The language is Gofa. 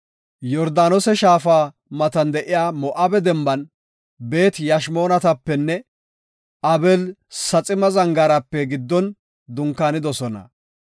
Yordaanose shaafa matan de7iya Moo7abe denban, Beet-Yashimootapenne Abeel-Saxima Zangaarape giddon dunkaanidosona.